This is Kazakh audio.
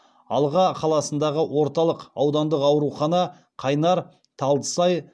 алға қаласындағы орталық аудандық аурухана қайнар талдысай